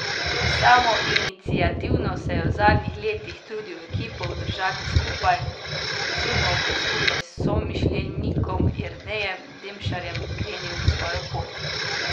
Samoiniciativno se je v zadnjih letih trudil ekipo obdržati skupaj, pred to zimo pa skupaj s somišljenikom Jernejem Demšarjem krenil svojo pot.